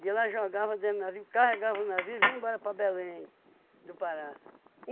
E ela jogava dentro do navio, carregava o navio e vinha embora para Belém do Pará.